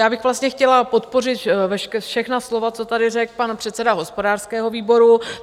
Já bych vlastně chtěla podpořit všechna slova, co tady řekl pan předseda hospodářského výboru.